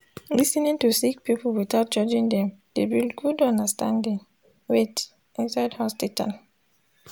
lis ten ing to sik pipul witout judging dem dey build gud understanding wait inside hosptital